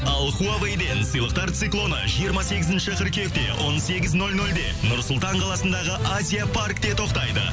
ал хуавейден сыйлықтар циклоны жиырма сегізінші қыркүйекте он сегіз нөл нөлде нұр сұлтан қаласындағы азия паркте тоқтайды